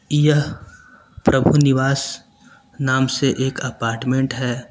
यह प्रभु निवास नाम से एक अपार्टमेंट है।